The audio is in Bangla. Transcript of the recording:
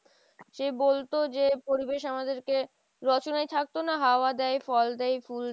সেই বলতো যে পরিবেশ আমাদেরকে, রচনায় থাকতো না হাওয়া দেয়, ফল দেয়, ফুল দেয়